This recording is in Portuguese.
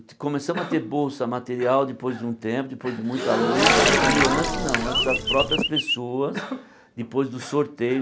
Então, começamos a ter bolsa material depois de um tempo, depois de muita luta e antes não, antes as próprias pessoas, depois do sorteio.